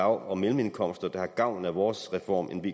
og mellemindkomster der har gavn af vores reform end af